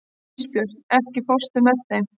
Ísbjört, ekki fórstu með þeim?